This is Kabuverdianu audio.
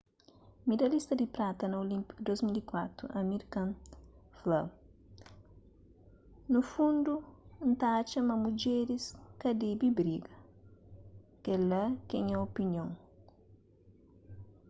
midalhista di prata na olínpiku di 2004 amir khan fla nu fundu n ta atxa ma mudjeris ka debe briga kel-la ke nha opinion